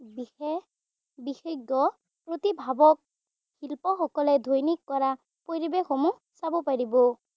বিশেষ বিশেজ্ঞ প্ৰতিভাৱক শিল্পসকলে দৈনিক কৰা পৰিৱেশসমূহ চাব পাৰিব।